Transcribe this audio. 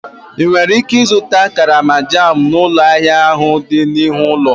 Ị nwere ike ịzụta karama jam n'ụlọ ahịa ahụ dị n'ihu ụlọ?